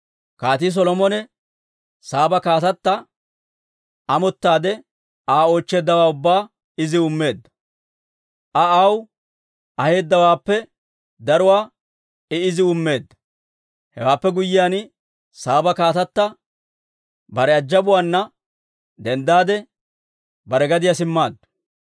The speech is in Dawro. Kaatii Solomone Saaba kaatata amottaade Aa oochcheeddawaa ubbaa iziw immeedda. Aa aw aheedawaappe daruwaa I iziw immeedda. Hewaappe guyyiyaan, Saaba kaatata bare ajabaana denddaade, bare gadiyaa simmaaddu.